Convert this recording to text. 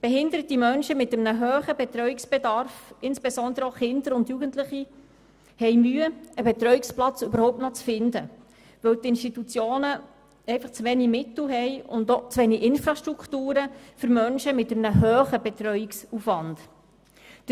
Behinderte Menschen mit einem hohen Betreuungsbedarf, insbesondere auch Kinder und Jugendliche, haben Mühe, überhaupt noch einen Betreuungsplatz zu finden, weil die Institutionen einfach zu wenig Mittel und auch zu wenig Infrastrukturen für Menschen mit einem hohen Betreuungsaufwand haben.